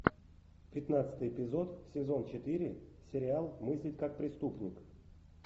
пятнадцатый эпизод сезон четыре сериал мыслить как преступник